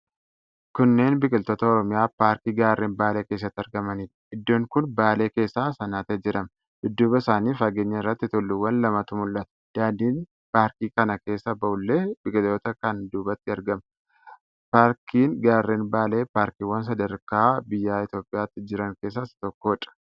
Kunneen biqiloota Oromiyaa, paarkii Gaarren Baalee keessatti argamanidha. Iddoon kun Baale keessa Sannatee jedhama. dudduuba isaanii fageenya irratti tulluuwwan lamatu mul'ata. Daandiin paarkii kana keessa bahullee biqiloota kana duubatti argama. Paarkiin Gaarren Baalee paarkiiwwan sadarkaa biyya Itiyoophiyaatti jiran keessaa isa tokkoodha.